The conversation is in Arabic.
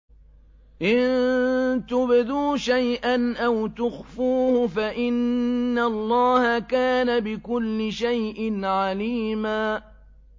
إِن تُبْدُوا شَيْئًا أَوْ تُخْفُوهُ فَإِنَّ اللَّهَ كَانَ بِكُلِّ شَيْءٍ عَلِيمًا